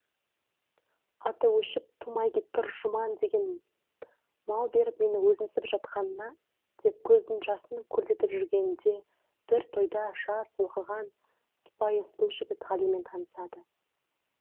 аты өшіп тумай кеткір жұман деген мал беріп мені өзімсіп жатқанына деп көздің жасын көлдетіп жүргенінде бір тойда жас оқыған сыпайы сұлу жігіт ғалимен танысады